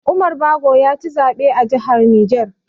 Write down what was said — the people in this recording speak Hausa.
Umar Bago yaci zaɓe a jihar Niger.